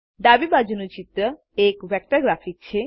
ડાબી બાજુનું ચિત્ર એક વેક્ટર ગ્રાફિક છે